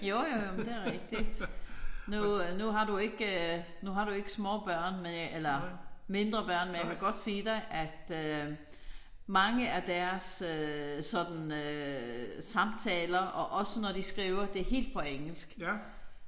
Jo jo jo men det er rigtigt. Nu nu har du ikke nu har du ikke små børn men jeg eller mindre børn men jeg kan godt sige dig at mange af deres sådan samtaler og også når de skriver det er helt på engelsk